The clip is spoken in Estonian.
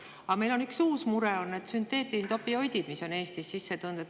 Aga meil on üks uus mure: sünteetilised opioidid, mis on Eestisse sisse tulnud.